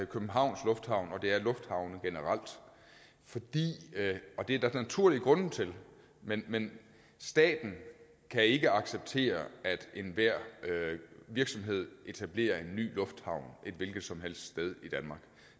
københavns lufthavn og det er lufthavne generelt og det er der naturlige grunde til men men staten kan ikke acceptere at enhver virksomhed etablerer en ny lufthavn et hvilket som helst sted i danmark